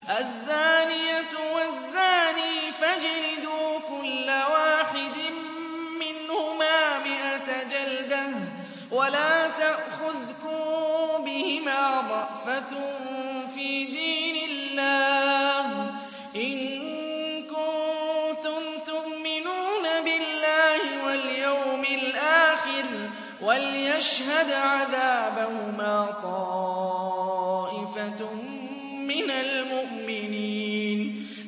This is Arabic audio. الزَّانِيَةُ وَالزَّانِي فَاجْلِدُوا كُلَّ وَاحِدٍ مِّنْهُمَا مِائَةَ جَلْدَةٍ ۖ وَلَا تَأْخُذْكُم بِهِمَا رَأْفَةٌ فِي دِينِ اللَّهِ إِن كُنتُمْ تُؤْمِنُونَ بِاللَّهِ وَالْيَوْمِ الْآخِرِ ۖ وَلْيَشْهَدْ عَذَابَهُمَا طَائِفَةٌ مِّنَ الْمُؤْمِنِينَ